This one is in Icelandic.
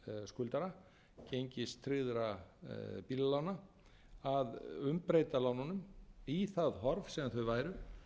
skuldara gengistryggðra bílalána að umbreyta lánunum í það horf sem þau væru